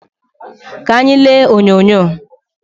Ka anyị lee onyonyo